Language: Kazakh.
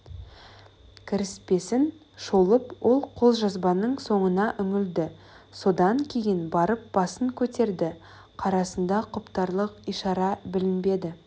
кіріспесін шолып ол қолжазбаның соңына үңілді содан кейін барып басын көтерді қарасында құптарлық ишара білінбеді